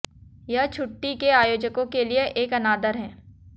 यह छुट्टी के आयोजकों के लिए एक अनादर है